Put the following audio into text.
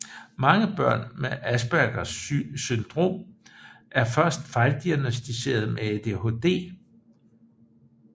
Mange børn med Aspergers syndrom er først fejldiagnosticeret med ADHD